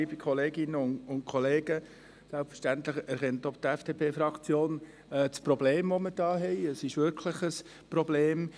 Selbstverständlich erkennt auch die FDP-Fraktion das Problem.